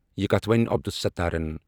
یہِ کتَھ وۄنی عبدالستارن۔